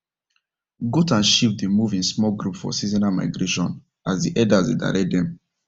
goat and sheep dey move in small group for seasonal migration as the herders dey direct them